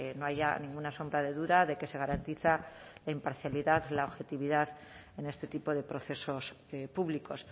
no haya ninguna sombra de duda de que se garantiza la imparcialidad la objetividad en este tipo de procesos públicos